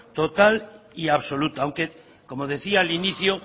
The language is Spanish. total y absoluta aunque como decía al inicio